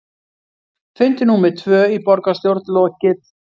Fundi númer tvö í borgarstjórn lokið